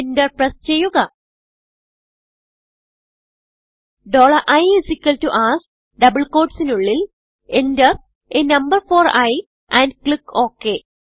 enter press ചെയ്യുക i ask double quotesനുള്ളിൽ enter a number for i and click okay